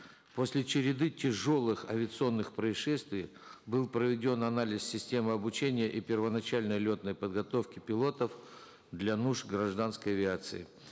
после череды тяжелых авиационных происшествий был проведен анализ системы обучения и первоначальной летной подготовки пилотов для нужд гражданской авиации